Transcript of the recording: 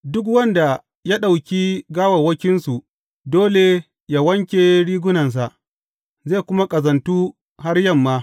Duk wanda ya ɗauki gawawwakinsu dole yă wanke rigunansa, zai kuma ƙazantu har yamma.